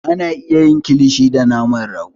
A na iya yin kilishi da naman rago